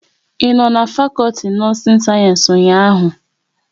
Ị no n'fakolti nọọsin sayensị ụnyaahụ?